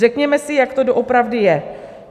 Řekněme si, jak to doopravdy je.